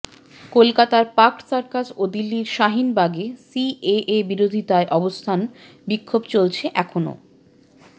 কলকাতার Park Circus ও দিল্লির শাহিনবাগে সিএএ বিরোধিতায় অবস্থান বিক্ষোভ চলেছে এখন ও